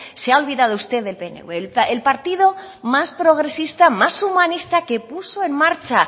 se ha olvidado usted del pnv el partido más progresista más humanista que puso en marcha